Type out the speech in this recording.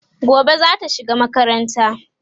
gobe zata shiga makaranta